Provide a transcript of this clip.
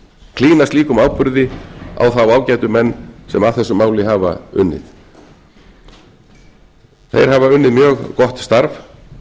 klína slíkum áburði á þá ágætu menn sem að þessu máli hafa unnið þeir hafa unnið mjög gott starf